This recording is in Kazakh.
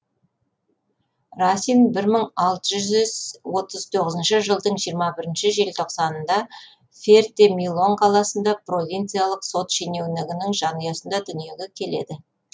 расин бір мың алты жүз отыз тоғызыншы жылдың жиырма бірінші желтоқсанында ферте милон қаласында провинциялық сот шенеунігінің жанұясында дүниеге келеді